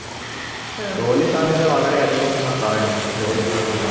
ജോലി സാധ്യത വളരെ അധികം എന്നാ പറയുന്നേ ജോലി സാധ്യത